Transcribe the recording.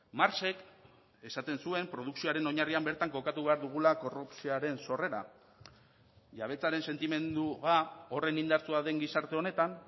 marxek esaten zuen produkzioaren oinarrian bertan kokatu behar dugula korrupzioaren sorrera jabetzaren sentimendua horren indartsua den gizarte honetan